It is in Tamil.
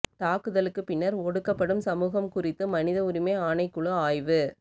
தாக்குதலுக்குப் பின்னர் ஒடுக்கப்படும் சமூகம் குறித்து மனித உரிமை ஆணைக்குழு ஆய்வு